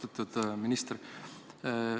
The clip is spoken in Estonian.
Austatud minister!